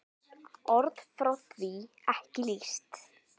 Orð fá því ekki lýst.